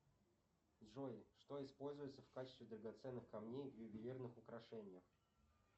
джой что используется в качестве драгоценных камней в ювелирных украшениях